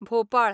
Bhopal